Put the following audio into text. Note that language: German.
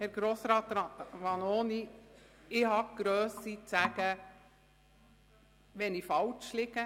Herr Grossrat Vanoni, ich habe die Grösse zu sagen, wenn ich falsch liege.